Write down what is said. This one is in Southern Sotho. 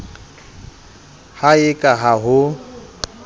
ha e ka ha ho